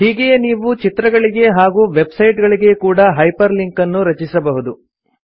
ಹೀಗೆಯೇ ನೀವು ಚಿತ್ರಗಳಿಗೆ ಹಾಗೂ ವೆಬ್ ಸೈಟ್ ಗಳಿಗೆ ಕೂಡಾ ಹೈಪರ್ ಲಿಂಕ್ ಅನ್ನು ರಚಿಸಬಹುದು